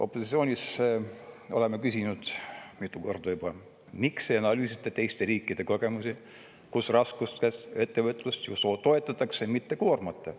Opositsioonis oleme küsinud mitu korda juba, miks ei analüüsita teiste riikide kogemusi, kus raskustes ettevõtlust toetatakse, mitte koormata.